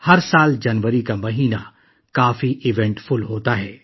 ہر سال جنوری کے مہینے میں کافی واقعات پیش آتے ہیں